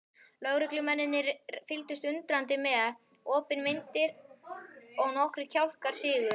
Lögreglumennirnir fylgdust undrandi með, opinmynntir og nokkrir kjálkar sigu.